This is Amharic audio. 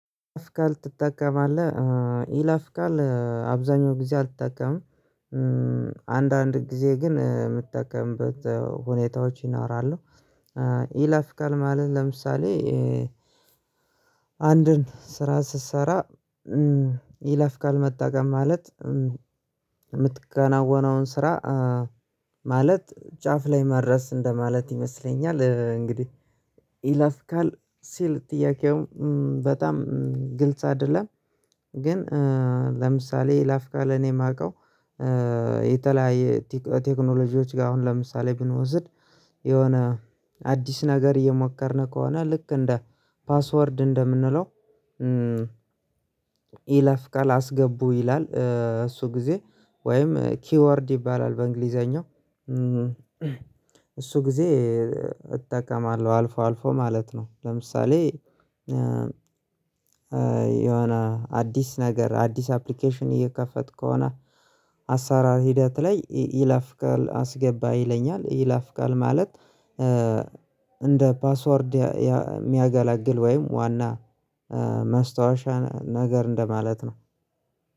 የይለፍ ቃል ትጠቀማለህ ኢላፍቃል አብዛኛው ጊዜ አልጠቀምም። አንዳንድ ጊዜ ግን የምጠቀምበት ሁኔታዎች ይኖራሉ። ኢላፍ ቃል ማለት ለምሳሌ አንድን ስራ ስትሰራ ይለፍ ቃል መጠቀም ማለት የምታከናውናውን ስራ ማለት ጫፍ ላይ መድረስ እንደማለት ይመስለኛል። እንግዲህ ይላፍ ቃል ሲል ጥያቄውም በጣም ግልጽ አይደለም። ግን ለምሳሌ የይለፍ ቃል እኔ እማቀው። የተለያየ ቴክኖሎጂዎች ጋ አሁን ለምሳሌ ብንወስድ የሆነ አዲስ ነገር እየሞከርን ከሆነ ልክ እንደ ፓስወርድ እንደምንለው። ይለፍቃል አስገቡ ይላል እሱ ጊዜ ወይም ኪወርድ ይባላል በእንግሊዘኛው። እሱ ጊዜ እጠቀማለሁ አልፎ አልፎ ማለት ነው። ለምሳሌ የሆነ አዲስ ነገር አዲስ አፕሊኬሽን እየከፈትኩ ከሆነ አሰራር ሂደት ላይ ይለፍ ቃል አስገባ ይለኛል። ይለፍ ቃል ማለት እንደ ፓስወርድ የሚያገለግል ወይም ዋና ማስታወሻን ነገር እንደማለት ነው።